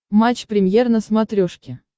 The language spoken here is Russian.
матч премьер на смотрешке